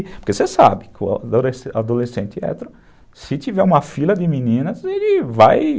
Porque você sabe que o ado adolescente hétero, se tiver uma fila de meninas, ele vai...